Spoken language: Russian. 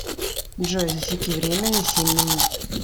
джой засеки время на семь минут